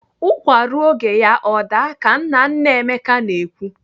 Ụkwa ruo oge ya o daa ka nna nna Emeka na-ekwu.